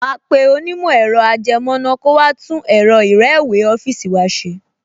Màá pe onímọ̀ ẹ̀rọ-ajẹmọ́ná kó wá tún ẹ̀rọ ìrẹ́wèé ọ́fíìsì wa ṣe